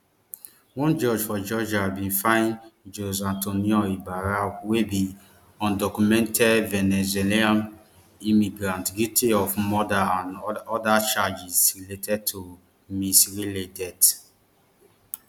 one judge for georgia bin find jose antonio ibarra wey be undocumented venezuelan immigrant guilty of murder and oda oda charges related to ms riley death